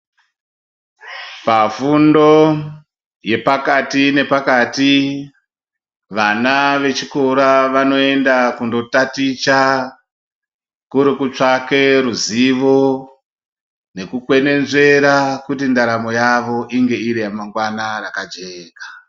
Pafundo yepakati nepakati vana vechikora vanoenda kundotaticha kuri kutsvake ruzivo nekukwenezvera kuti ndaramo yavo ramangwana ive iri yakajeka.